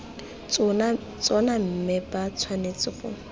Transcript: tsona mme ba tshwanetse go